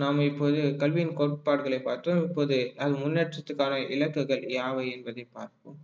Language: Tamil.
நாம் இப்போது கல்வியின் கோட்பாடுகளை பார்த்தோம் இப்போது அது முன்னேற்றத்துக்கான இலக்குகள் யாவை என்பதை பார்ப்போம்